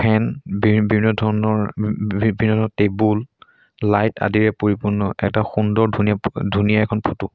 বিভিন্ন ধৰণৰ ৰিপেয়াৰ ৰ টেবুল লাইট আদিৰে পৰিপূৰ্ণ এটা সুন্দৰ ধুনীয়া ধুনীয়া এখন ফটো ।